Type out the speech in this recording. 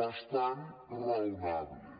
bas·tant raonables